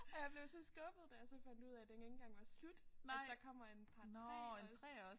Og jeg blev så skuffet da jeg så fandt ud af den ikke engang var slut at der kommer en part 3 også